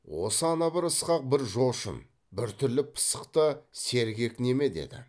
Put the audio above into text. осы ана бір ьісқақ бір жошын біртүрлі пысық та сергек неме деді